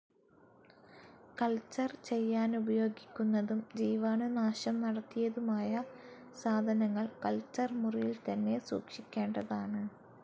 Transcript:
Culture ചെയ്യാനുപയോഗിക്കുന്നതും ജീവാണുനാശം നടത്തിയതുമായ സാധനങ്ങൾ കൾച്ചർ മുറിയിൽത്തന്നെ സൂക്ഷിക്കേണ്ടതാണ്.